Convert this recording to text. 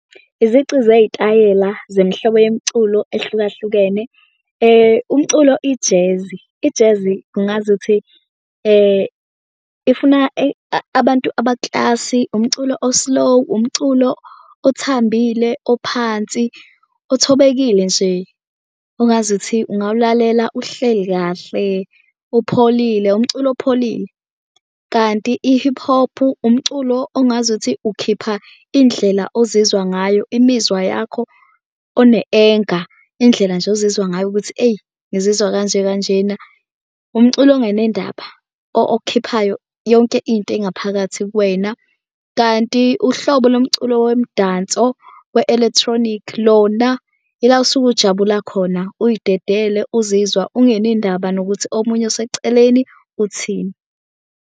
Izici zeyitayela zemihlobo yomculo ehlukahlukene umculo ijezi, ijezi ungazuthi ifuna eyi abantu abaklasi. Umculo o-slow, umculo othambile, ophansi, othobekile nje ongazuthi ungawulalela uhleli kahle, upholile umculo opholile. Kanti i-hip hop umculo ongazuthi ukhipha indlela ozizwa ngayo imizwa yakho one-anger indlela nje ozizwa ngayo ukuthi eyi ngizizwa kanje kanjena. Umculo onganendaba okukhiphayo yonke into engaphakathi kuwena. Kanti uhlobo lomculo womdanso we-electronic, lona ila usuke ujabula khona. Uyidedele uzizwa ungene ndaba nokuthi omunye oseceleni uthini.